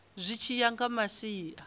zwi tshi ya nga masia